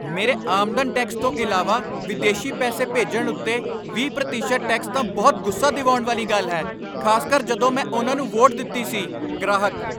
ਮੇਰੇ ਆਮਦਨ ਟੈਕਸ ਤੋਂ ਇਲਾਵਾ ਵਿਦੇਸੀ ਪੈਸੇ ਭੇਜਣ ਉੱਤੇ ਵੀਹ ਪ੍ਰਤੀਸ਼ਤ ਟੈਕਸ ਤਾਂ ਬਹੁਤ ਗੁੱਸਾ ਦਿਵਾਉਣ ਵਾਲੀ ਗੱਲ ਹੈ, ਖ਼ਾਸਕਰ ਜਦੋਂ ਮੈਂ ਉਨ੍ਹਾਂ ਨੂੰ ਵੋਟ ਦਿੱਤੀ ਸੀ ਗ੍ਰਾਹਕ